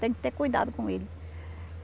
Tem que ter cuidado com ele.